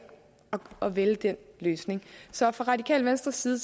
at vælge den løsning så fra radikale venstres side